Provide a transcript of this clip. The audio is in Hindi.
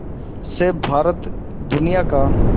से भारत दुनिया का